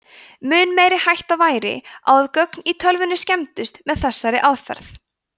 mun meiri hætta væri á að gögn í tölvunni skemmdust með þessari aðferð